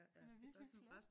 Den er virkelig flot